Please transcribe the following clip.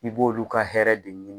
I b'olu ka hɛrɛ de ɲini